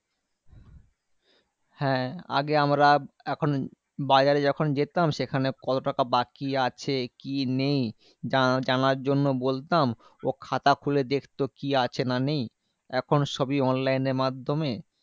হ্যাঁ আগে আমরা এখন বাজারে যখন যেতাম, সেখানে কত টাকা বাকি আছে কি নেই? জা~ জানার জন্য বলতাম। ও খাতা খুলে দেখতো, কি আছে না নেই? এখন সবই online এর মাধ্যমে